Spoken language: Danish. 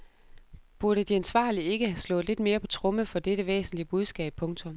Burde de ansvarlige ikke have slået lidt mere på tromme for dette væsentlige budskab. punktum